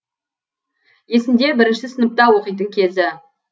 есінде бірінші сыныпта оқитын кезі